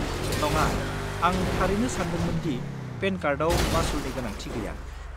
नङा, आं थारैनो सानदोंमोन दि पेन कार्डआव मासुलनि गोनांथि गैया।